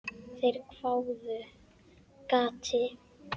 Þeir hváðu: Gati?